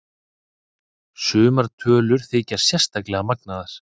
Sumar tölur þykja sérstaklega magnaðar.